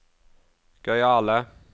gøyale